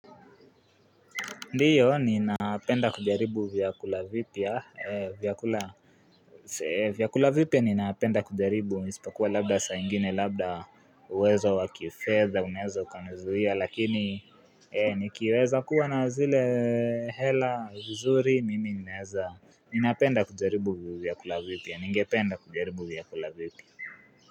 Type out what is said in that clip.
Ndiyo, ninapenda kujaribu vyakula vipya, vyakula vipya ninapenda kujaribu, isipokuwa labda saingine, labda uwezo wa kifedha, unaeza ukanizuia lakini nikiweza kuwa na zile hela nzuri, mimi ninaweza, ninapenda kujaribu vyakula vipya, ningependa kujaribu vyakula vipya.